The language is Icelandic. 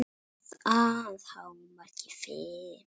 Að hámarki fimm.